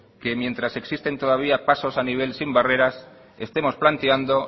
que mientras existen también pasos a nivel sin barreras estemos planteando